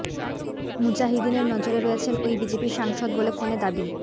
মুজাহিদিনের নজরে রয়েছেন ওই বিজেপি সাংসদ বলে ফোনে দাবি